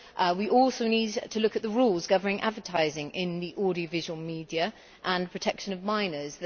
We also need to look at the rules governing advertising in the audiovisual media and the protection of minors.